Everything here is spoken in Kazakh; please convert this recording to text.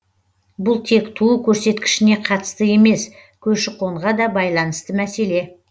бұл тек туу көрсеткішіне қатысты емес көші қонға да байланысты мәселе